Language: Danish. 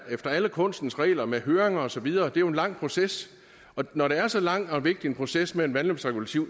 efter alle kunstens regler med høringer og så videre det er jo en lang proces og når det er så lang og vigtig en proces med vandløbsregulativer